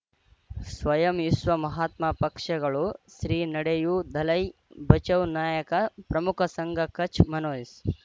ಸ್ವಯಂ ವಿಶ್ವ ಮಹಾತ್ಮ ಪಕ್ಷಗಳು ಶ್ರೀ ನಡೆಯೂ ದಲೈ ಬಚೌ ನಾಯಕ ಪ್ರಮುಖ ಸಂಘ ಕಚ್ ಮನೋಜ್